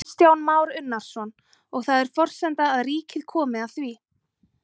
Kristján Már Unnarsson: Og það er forsenda að ríkið komi að því?